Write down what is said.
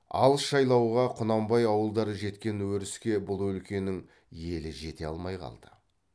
алыс жайлауға құнанбай ауылдары жеткен өріске бұл өлкенің елі жете алмай қалды